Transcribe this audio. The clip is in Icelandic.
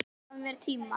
Hann gaf mér tíma.